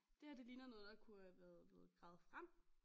Det her det ligner noget der kunne have været blevet gravet frem